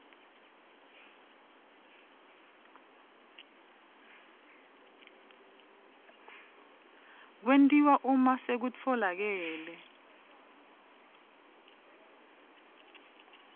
kwentiwa uma sekutfolakele